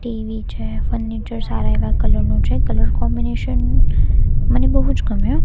TV છે furniture સારા એવા કલર નુ છે કલર કોમ્બિનેશન મને બોજ ગમ્યુ.